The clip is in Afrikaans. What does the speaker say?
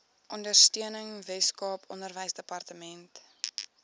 ondersteuning weskaap onderwysdepartement